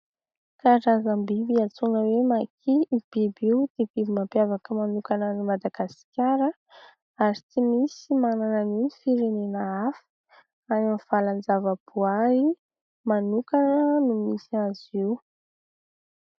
Karazam-biby, antsoina hoe Maki. Io biby io dia biby mampiavaka manokana an'i Madagasikara ary tsy misy manana an'io ny firenena hafa. Any amin'ny valan-javaboary manokana no misy azy io.